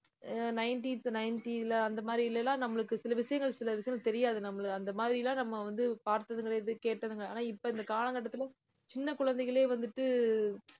அஹ் nineteenth ninety ல அந்த மாதிரி நம்மளுக்கு சில விஷயங்கள் சில விஷயங்கள் தெரியாது. நம்மள அந்த மாதிரி எல்லாம் நம்ம வந்து, பார்த்ததும் கிடையாது கேட்டதும் கிடையாது ஆனா இப்ப இந்த கால கட்டத்துல சின்ன குழந்தைகளே வந்துட்டு